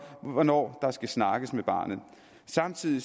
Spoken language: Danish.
hvornår der skal snakkes med barnet samtidig